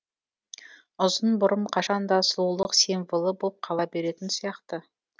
ұзын бұрым қашан да сұлулық символы болып қала беретін сияқты